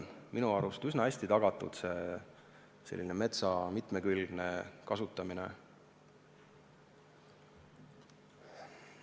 Minu arvates on meil üsna hästi tagatud metsa mitmekülgne kasutamine.